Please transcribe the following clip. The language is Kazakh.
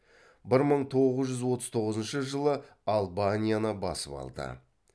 бір мың тоғыз жүз отыз тоғызыншы жылы албанияны басып алды